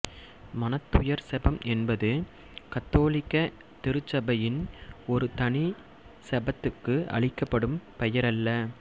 மனத்துயர் செபம் என்பது கத்தோலிக்க திருச்சபையின் ஒரு தனி செபத்துக்கு அளிக்கப்படும் பெயரல்ல